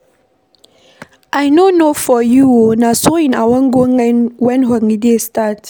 I no know for you oo, na sewing I wan go learn wen holiday start